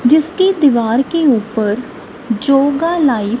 जिसकी दीवार के ऊपर जोगा लाइफ --